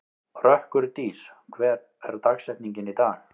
Rökkurdís, hver er dagsetningin í dag?